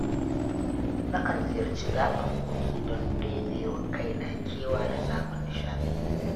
Nakan ziyarci gaɓar kogi don ɗebe wa kaina kewa da samun nishaɗi